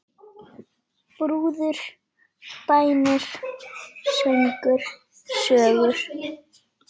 Brúður, bænir, söngur, sögur.